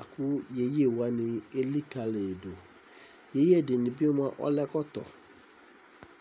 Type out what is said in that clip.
ɑku yeyewani ɛlikalidu yeye ɛdinibi ɔle ɛkɔto